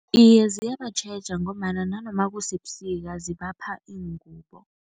Iye, ziyabatjheja ngombana nanoma kusebusika zibapha iingubo.